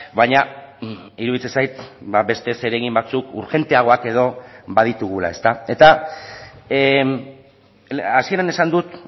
baina iruditzen zait beste zeregin batzuk urgenteagoak edo baditugula eta hasieran esan dut